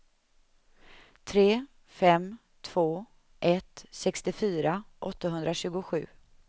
tre fem två ett sextiofyra åttahundratjugosju